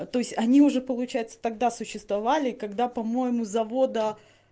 то есть они уже получается тогда существовали когда по-моему завода